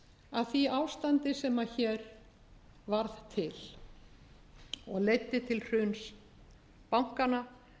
af því ástandi sem hér varð til og leiddi til hruns bankanna